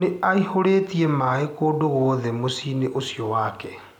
Nĩaihũrĩtie maĩ kũndũ guothe mũciĩ-inĩ ũcio wake.